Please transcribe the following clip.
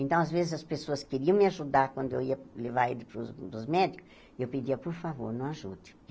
Então, às vezes, as pessoas queriam me ajudar quando eu ia levar ele para os para os médicos, e eu pedia, por favor, não ajude.